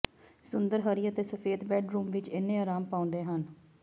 ਸੁੰਦਰ ਹਰੀ ਅਤੇ ਸਫੈਦ ਬੈੱਡਰੂਮ ਵਿਚ ਇੰਨੇ ਅਰਾਮ ਪਾਉਂਦੇ ਹਨ